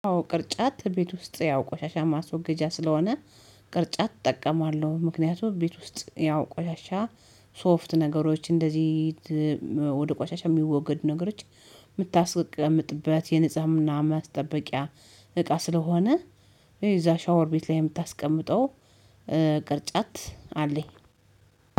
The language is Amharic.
ቅርጫት ቤት ውስጥ ያው ቆሻሻ ማስወገጃ ስለሆነ ቅርጫት እጠቀማለሁ ምክንያቱም ቤት ውስጥ ያው ቆሻሻ ሶፍት ነገሮች እንደዚህ ወደ ቋሻቻ የሚወገድ ነገሮች የምታስቀምጥበት የነጽህና ማስጠበቂያ እቃ ስለሆነ እዛ ሻወር ቤት ላይ የምታስቀምጠው ቅርጫት አለኝ።